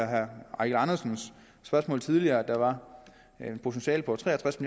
herre eigil andersens spørgsmål tidligere at der er et potentiale på tre og tres